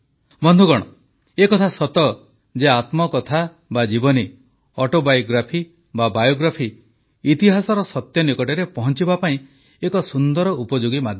ବନ୍ଧୁଗଣ ଏହା ସତ ଯେ ଆତ୍ମକଥା ବା ଜୀବନୀ ଅଟୋବାଇଓଗ୍ରାଫି ବା ବାଇଓଗ୍ରାଫି ଇତିହାସର ସତ୍ୟ ନିକଟରେ ପହଂଚିବା ପାଇଁ ଏକ ସୁନ୍ଦର ଉପଯୋଗୀ ମାଧ୍ୟମ